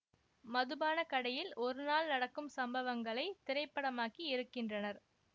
மதுபான கடையில் ஒரு நாள் நடக்கும் சம்பவங்களை திரைப்படமாக்கி இருக்கின்றனர்